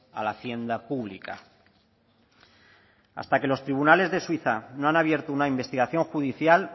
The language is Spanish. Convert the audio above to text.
a la hacienda pública hasta que los tribunales de suiza no han abierto una investigación judicial